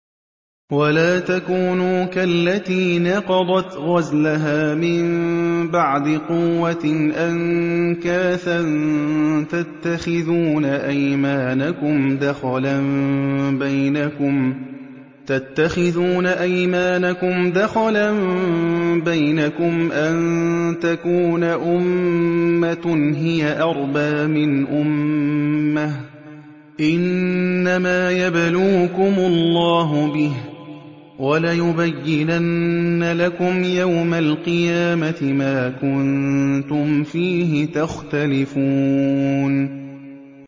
وَلَا تَكُونُوا كَالَّتِي نَقَضَتْ غَزْلَهَا مِن بَعْدِ قُوَّةٍ أَنكَاثًا تَتَّخِذُونَ أَيْمَانَكُمْ دَخَلًا بَيْنَكُمْ أَن تَكُونَ أُمَّةٌ هِيَ أَرْبَىٰ مِنْ أُمَّةٍ ۚ إِنَّمَا يَبْلُوكُمُ اللَّهُ بِهِ ۚ وَلَيُبَيِّنَنَّ لَكُمْ يَوْمَ الْقِيَامَةِ مَا كُنتُمْ فِيهِ تَخْتَلِفُونَ